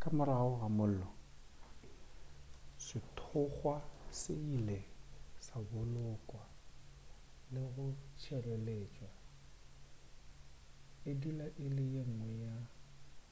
ka morago ga mollo sethokgwa se ile sa bolokwa le go tšhireletšwa e dula e le yengwe ya